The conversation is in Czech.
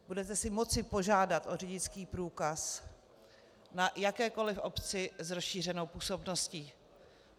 Budete si moci požádat o řidičský průkaz na jakékoliv obci s rozšířenou působností.